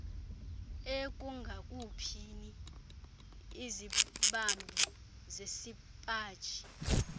ekungakhuphini izibambi zesipaji